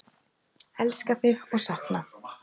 Elska þig og sakna!